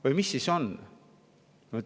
Või mis siis on?